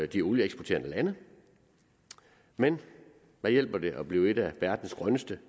de olieeksporterende lande men hvad hjælper det at blive et af verdens grønneste